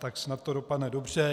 Tak snad to dopadne dobře.